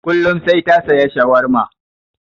Kullum sai ta saya shawarma.